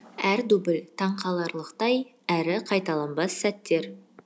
әр дубль таңқаларлықтай әрі қайталанбас сәттер